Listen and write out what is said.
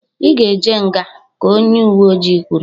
"I ga-eje nga!" ka onye uwe oji kwuru.